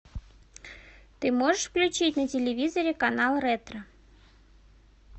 ты можешь включить на телевизоре канал ретро